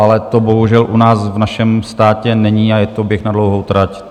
Ale to bohužel u nás v našem státě není a je to běh na dlouhou trať.